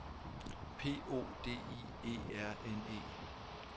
P O D I E R N E